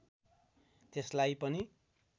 त्यसलाई पनि